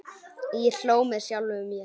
Ég hló með sjálfum mér.